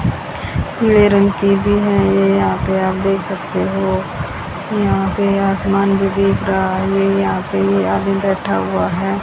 पीले रंग की भी है ये यहां पे आप देख सकते हो यहां पे आसमान भी दिख रहा है ये यहां पे ये आदमी बैठा हुआ है।